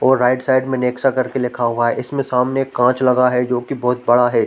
और right side में Nexa करके लिखा हुआ है इसमें सामने एक कांच लगा है जो कि बहोत बड़ा है।